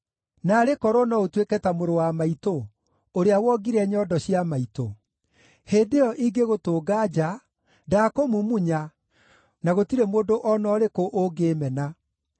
Naarĩ korwo no ũtuĩke ta mũrũ wa maitũ, ũrĩa wongire nyondo cia maitũ! Hĩndĩ ĩyo, ingĩgũtũnga nja, ndaakũmumunya, na gũtirĩ mũndũ o na ũrĩkũ ũngĩĩmena.